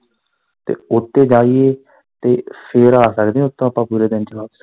ਤੇ ਓਦੇ ਤੇ ਜਾਈਏ ਤੇ ਫਿਰ ਆ ਸਕਦੇ ਆ ਉੱਥੋਂ ਪੂਰੇ ਦਿਨ ਚ ਵਾਪਸ।